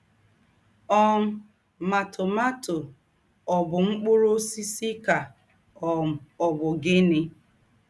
um Mà, tomato ọ̀ bụ̀ mkpūrū ǒsísì kà um ọ̀ bụ̀ gịnị?